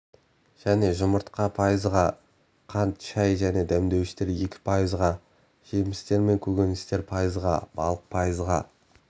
және жұмыртқа пайызға қант шай және дәмдеуіштер екі пайызға жемістер мен көкөністер пайызға балық пайызға